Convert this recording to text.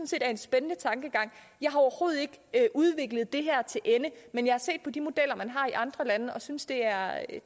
set er en spændende tankegang jeg har overhovedet ikke udviklet det her til ende men jeg har set på de modeller man har i andre lande og synes det er